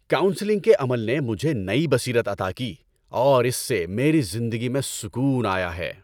Counselling کے عمل نے مجھے نئی بصیرت عطا کی اور اس سے میری زندگی میں سکون آیا ہے۔